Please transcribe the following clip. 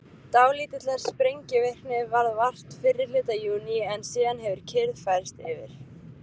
Dálítillar sprengivirkni varð vart fyrri hluta júní en síðan hefur kyrrð færst yfir.